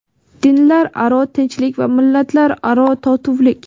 dinlararo tinchlik va millatlararo totuvlik.